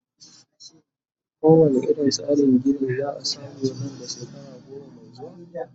ko wane irin tsarin Gini zaa samu Nan da shekara goma Mai zuwa?